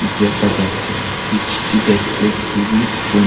দেখা যাচ্ছে দেখতে খুবই সুন--